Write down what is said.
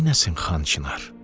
Nəsin xan çinar?